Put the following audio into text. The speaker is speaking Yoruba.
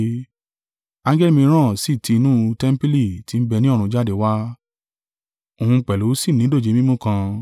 Angẹli mìíràn sì tí inú tẹmpili tí ń bẹ ni ọ̀run jáde wá, òun pẹ̀lú sì ní dòjé mímú, kan.